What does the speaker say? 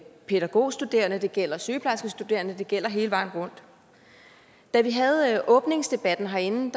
pædagogstuderende det gælder sygeplejerskestuderende det gælder hele vejen rundt da vi havde åbningsdebatten herinde